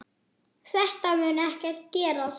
Þetta mun ekki gerast.